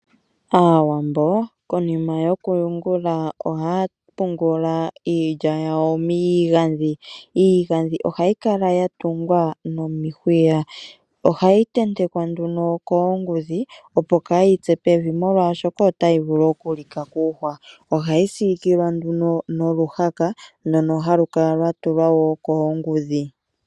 Aawambo konima yokuyungula ohaya pungula iilya yawo miigandhi. Iigandhi ohayi kala yatungwa nomihwiya. Ohayi tentekwa nduno koongudhi opo kaayitse pevi molwashoka otayi vulu oku lika kuuhwa. Ohayi siikilwa nduno noluhaka ndono halu kala lwa tulwa woo koongudhi.